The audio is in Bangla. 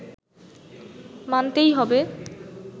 মানতেই হবে